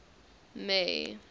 may